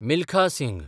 Milkha Singh